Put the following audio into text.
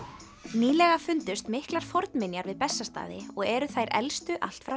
nýlega fundust miklar fornminjar við Bessastaði og eru þær elstu allt frá